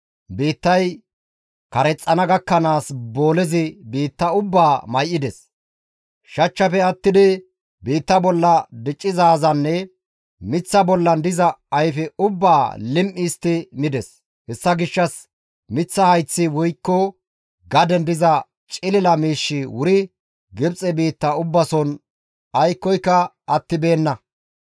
Biittay karexxana gakkanaas boolezi biitta ubbaa may7ides. Shachchafe attidi biitta bolla diccizaazanne miththa bollan diza ayfe ubbaa lim7i histti mides. Hessa gishshas miththa hayththi woykko gaden diza cilila miishshi wuri Gibxe biitta ubbason aykkoyka attibeenna.